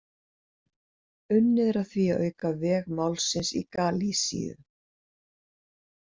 Unnið er að því að auka veg málsins í Galisíu.